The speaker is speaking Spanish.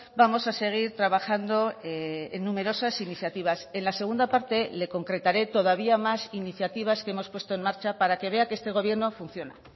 vamos a seguir trabajando en numerosas iniciativas en la segunda parte le concretaré todavía más iniciativas que hemos puesto en marcha para que vea que este gobierno funciona